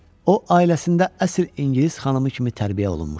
O, ailəsində əsl ingilis xanımı kimi tərbiyə olunmuşdu.